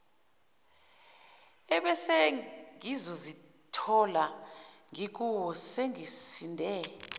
ebesengizozithola ngikuwo sengisinde